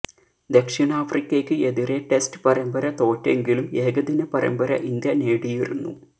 ദക്ഷിണാഫ്രിക്കയ്ക്ക് എതിരെ ടെസ്റ്റ് പരമ്പര തോറ്റെങ്കിലും ഏകദിന പരമ്പര ഇന്ത്യ നേടിയിരുന്നു